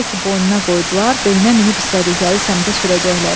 Elə ki, boynuna qoydular, belinə minib istədikləri səmtə sürəcəklər.